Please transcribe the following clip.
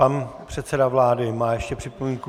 Pan předseda vlády má ještě připomínku.